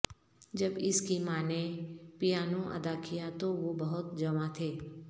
جب اس کی ماں نے پیانو ادا کیا تو وہ بہت جوان تھے